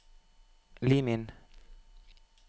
Lim inn